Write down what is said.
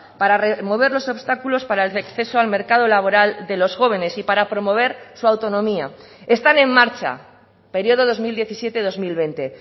para remover los obstáculos para el acceso al mercado laboral de los jóvenes y para promover su autonomía están en marcha periodo dos mil diecisiete dos mil veinte